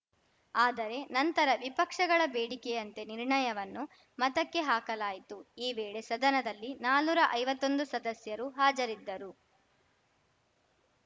ಆದರೆ ನಂತರ ವಿಪಕ್ಷಗಳ ಬೇಡಿಕೆಯಂತೆ ನಿರ್ಣಯವನ್ನು ಮತಕ್ಕೆ ಹಾಕಲಾಯಿತು ಈ ವೇಳೆ ಸದನದಲ್ಲಿನಾನುರಾ ಐವತ್ತೊಂದು ಸದಸ್ಯರು ಹಾಜರಿದ್ದರು